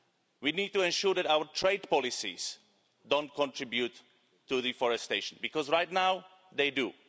We need to ensure that our trade policies don't contribute to deforestation, because right now they